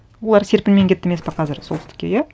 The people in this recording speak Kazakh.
олар серпінмен кетті емес пе қазір солтүстікке иә